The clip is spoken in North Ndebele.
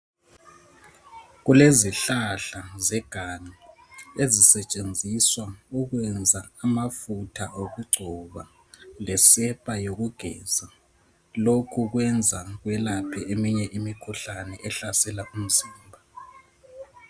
kulezihlahla zeganga ezisetshenziswa ukwenza amafutha okugcoba lesepa yokugeza lokhu kwenza kwelaphe eminye imikhuhlane ehlasela umzimba